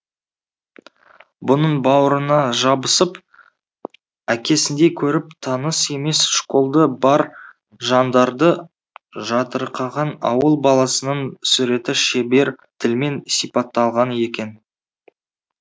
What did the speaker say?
бұның бауырына жабысып әкесіндей көріп таныс емес школды бар жандарды жатырқаған ауыл баласының суреті шебер тілмен сипатталған екен